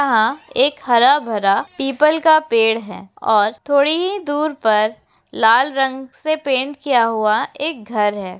यहाँ एक हरा भरा पीपल का पेड़ है और थोड़ी ही दूर पर लाल रंग से पेंट किया हुआ एक घर है।